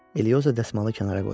Elioza dəsmalı kənara qoydu.